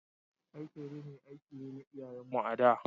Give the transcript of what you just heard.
Aikin rini aiki ne na iyayen mu a da.